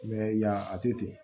yan a tɛ ten